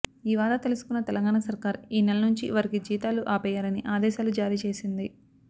ఈ వార్త తెలుసుకున్న తెలంగాణ సర్కార్ ఈనెల నుంచి వారికి జీతాలు ఆపేయాలని ఆదేశాలు జారీ చేసింది